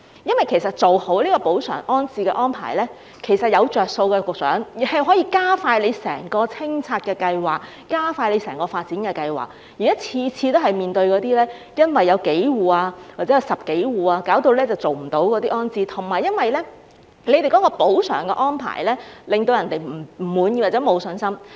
局長，做好補償安置安排，其實是有好處的，可以加快整個清拆計劃和整個發展計劃，現在每次都是因為有數戶或10多戶而無法完成安置，加上補償安排令人不滿或沒有信心。